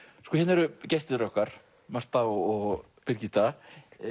eru gestir okkar Marta og Birgitta